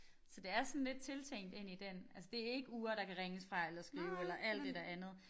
Så det er sådan lidt tiltænkt ind i den altså det ikke ure der kan ringes fra eller skrive eller alt det der andet